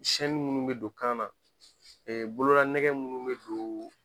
minnu bɛ don kan na bolola nɛgɛ minnu bɛ don